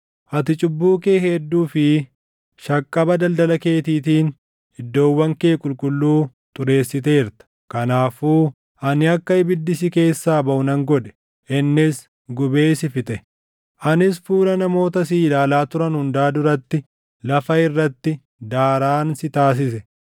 Ati cubbuu kee hedduu fi shaqqaba daldala keetiitiin iddoowwan kee qulqulluu xureessiteerta. Kanaafuu ani akka ibiddi si keessaa baʼu nan godhe; innis gubee si fixe; anis fuula namoota si ilaalaa turan hundaa duratti lafa irratti daaraan si taasise.